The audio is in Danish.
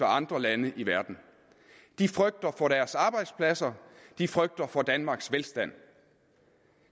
andre lande i verden de frygter for deres arbejdspladser de frygter for danmarks velstand